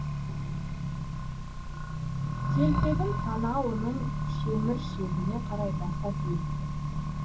телпегін танауының шеміршегіне қарай баса киіпті